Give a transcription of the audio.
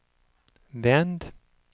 vänd